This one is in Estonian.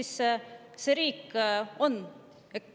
Kus siis see riik on?